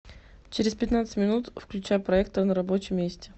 через пятнадцать минут включай проектор на рабочем месте